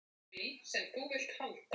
Guðstein, hringdu í Bæron.